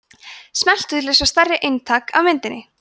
smelltu til að sjá stærra eintak af myndinni